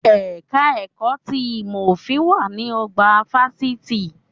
Ẹ̀ka ẹ̀kọ́ ti ìmọ̀ òfin wà ní ọgbà fásitì